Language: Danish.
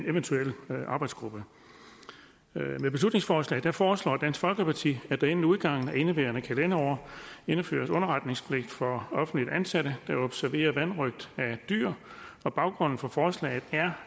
eventuel arbejdsgruppe med beslutningsforslaget foreslår dansk folkeparti at der inden udgangen af indeværende kalenderår indføres underretningspligt for offentligt ansatte der observerer vanrøgt af dyr baggrunden for forslaget er